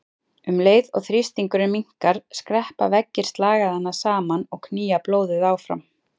Um leið og þrýstingurinn minnkar skreppa veggir slagæðanna saman og knýja blóðið áfram.